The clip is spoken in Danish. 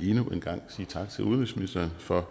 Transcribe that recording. endnu en gang sige tak til udenrigsministeren for